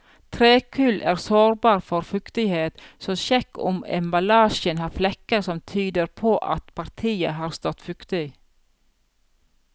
Trekull er sårbar for fuktighet, så sjekk om emballasjen har flekker som tyder på at partiet har stått fuktig.